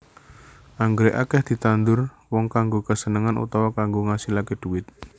Anggrèk akèh ditandur wong kanggo kasenengan utawa kanggo ngasilaké dhuwit